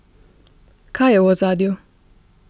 Kaj je v ozadju?